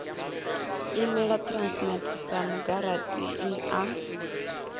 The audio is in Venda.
imela transnet sa mugarantii a